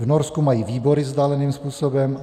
V Norsku mají výbory vzdáleným způsobem.